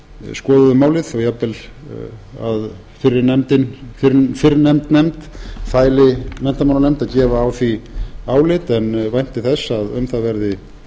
skoðuðu málið og jafnvel að fyrrnefnd nefnd fæli menntamálanefnd að gefa á því álit en vænti þess að um það verði